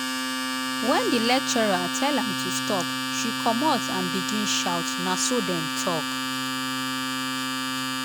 wen di lecturer tell am to stop she comot and begin shout na so dem tok.